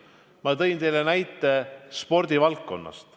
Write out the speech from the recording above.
Ma tõin teile näite spordivaldkonnast.